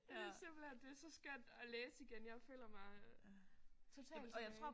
Og det er simpelthen det er så skønt at læse igen. Jeg føler mig totalt tilbage